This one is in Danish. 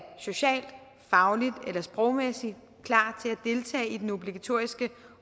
socialt fagligt eller sprogligt klar til at deltage i den obligatoriske